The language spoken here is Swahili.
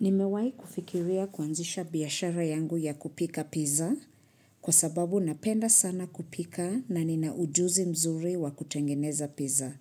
Nimewahi kufikiria kuanzisha biashara yangu ya kupika pizza kwa sababu napenda sana kupika na ninaujuzi mzuri wa kutengeneza pizza.